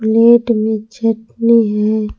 Plate में चटनी है।